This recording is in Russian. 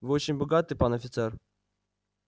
вы очень богаты пан офицер